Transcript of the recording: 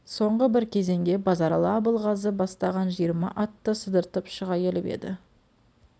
соңғы бір кезеңге базаралы абылғазы бастаған жиырма атты сыдыртып шыға келіп еді